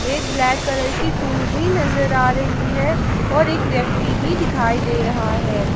एक black colour की tool भी नजर आ रही है और एक व्यक्ति भी दिखाई दे रहा है।